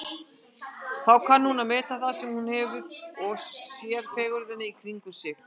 Þá kann hún að meta það sem hún hefur og sér fegurðina í kringum sig.